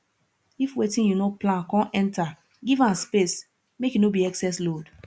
if wetin yu no plan con enter giv am space mek e no be excess load